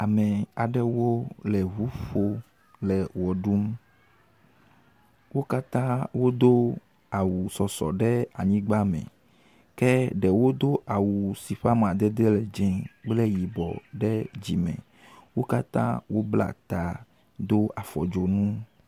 Ame aɖewo le ŋom le wɔ ɖum. Wo katã wodo awu sɔsɔe ɖe anyigbame, ke ɖewo do awu si ƒe amadede le dze kple yibɔ ɖe dzime. Wo katã wobla ta, do afɔ dzonu.